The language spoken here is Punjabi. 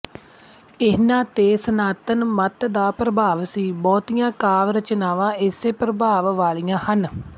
ਇਹਨਾ ਤੇ ਸਨਾਤਨ ਮੱਤ ਦਾ ਪ੍ਰਭਾਵ ਸੀ ਬਹੁਤੀਆਂ ਕਾਵਿ ਰਚਨਾਵਾਂ ਇਸੇ ਪ੍ਰਭਾਵ ਵਾਲੀਆਂ ਹਨ